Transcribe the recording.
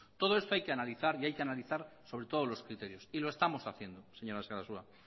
todo esto hay que analizar y hay que analizar sobre todos los criterios y lo estamos haciendo señora sarasua